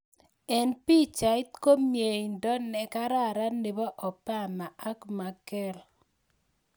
Eng pichait ko mieindo nekararan nebo Obama ak Merkrl.